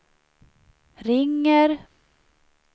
ringer